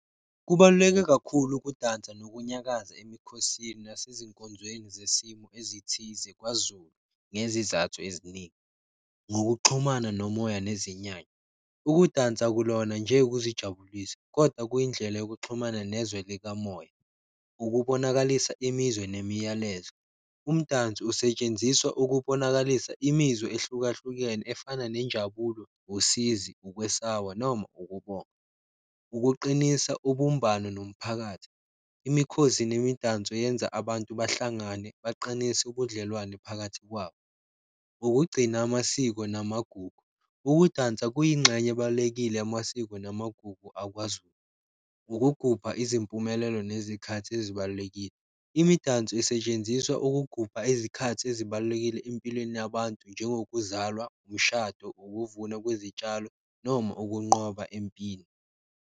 Kubaluleke kakhulu ukudansa nokunyakaza emikhosini yasezinkonzweni zesimo ezithize kwaZulu, ngezizathu eziningi ngokuxhumana nomoya nezinyanya. Ukudansa akulona nje ukuzijabulisa koda kuyindlela yokuxhumana nezwe likamoya. Ukubonakalisa imizwa nemiyalezo. Umdanso usetshenziswa ukubonakalisa imizwa ehlukahlukene efana nenjabulo, usizi, ukwesaba noma ukubonga. Ukuqinisa ubumbano nomphakathi, mikhosi nemidanso yenza abantu bahlangane baqinise ubudlelwane phakathi kwabo. Ukugcina amasiko namagugu, ukudansa kuyingxenye ebalulekile yamasiko namagugu akwaZulu. Ukugubha izimpumelelo nezikhathi ezibalulekile, imidanso isetshenziswa ukugubha izikhathi ezibalulekile empilweni yabantu njengokuzalwa, umshado, ukuvuna kwezitshalo noma ukunqoba empini.